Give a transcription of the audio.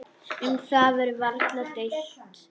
Um það verður varla deilt.